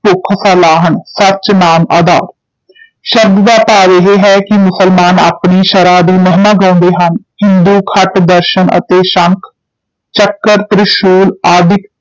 ਭੁਖ ਸਾਲਾਹਣੁ ਸਚੁ ਨਾਮੁ ਆਧਾਰੁ ਸ਼ਬਦ ਦਾ ਭਾਵ ਇਹ ਹੈ ਕਿ ਮੁਸਲਮਾਨ ਆਪਣੀ ਸ਼ਰ੍ਹਾ ਦੀ ਮਹਿਮਾ ਗਾਉਂਦੇ ਹਨ, ਹਿੰਦੂ ਖਟ ਦਰਸ਼ਨ ਅਤੇ ਸੰਖ, ਚੱਕ੍ਰ, ਤ੍ਰਿਸ਼ੂਲ ਆਦਿਕ